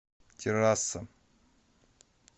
террасса